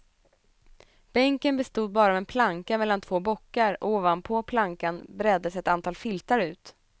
Bänken bestod bara av en planka mellan två bockar och ovanpå plankan breddes ett antal filtar ut.